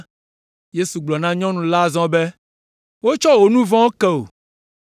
Yesu gblɔ na nyɔnu la azɔ be, “Wotsɔ wò nu vɔ̃wo ke wò.”